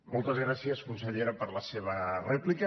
moltes gràcies consellera per la seva rèplica